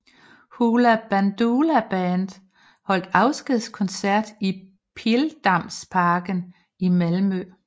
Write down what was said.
Hoola Bandoola Band holdt afskedskoncert i Pildammsparken i Malmö